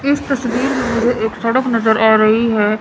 इस तस्वीर में मुझे एक सड़क नजर आ रही है।